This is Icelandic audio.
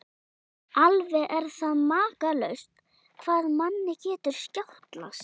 Alveg er það makalaust hvað manni getur skjátlast!